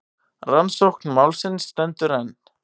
Rannsókn málsins stendur enn.